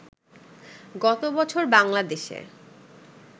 গত বছর বাংলাদেশে